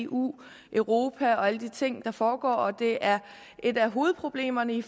eu europa og alle de ting der foregår og at det er et af hovedproblemerne i